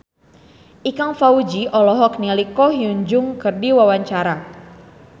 Ikang Fawzi olohok ningali Ko Hyun Jung keur diwawancara